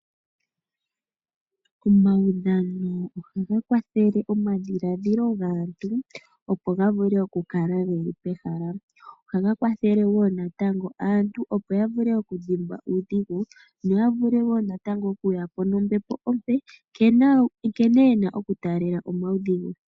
Omaudhano ohaga kwathele omadhiladhilo gaantu opo ga vule okukala geli pehala. Ohaga kwathele wo natango aantu opo ya vule okudhimbwa uudhigu no yavule wo okuya po nombepo ompe nkene yena okutaalela omaudhigu.